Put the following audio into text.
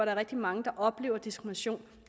er rigtig mange der oplever diskrimination